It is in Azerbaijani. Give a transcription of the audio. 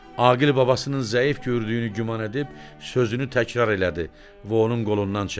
Aqil babasının zəif gördüyünü güman edib sözünü təkrar elədi və onun qolundan çəkdi.